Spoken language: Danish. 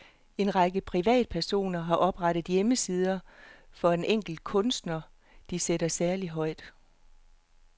En række privatpersoner har oprettet hjemmesider for en enkelt kunstner, de sætter særlig højt.